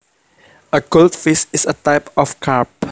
A goldfish is a type of carp